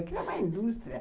Aquilo é uma indústria.